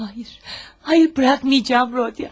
Xeyr, xeyr, buraxmayacağam, Rodiya.